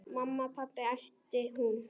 Mamma, pabbi æpti hún.